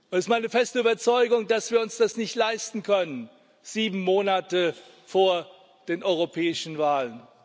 Es ist meine feste Überzeugung, dass wir uns das nicht leisten können, sieben Monate vor den europäischen Wahlen.